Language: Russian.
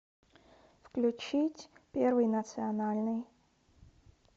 включить первый национальный